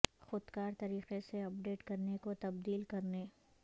خود کار طریقے سے اپ ڈیٹ کرنے کو تبدیل کرنے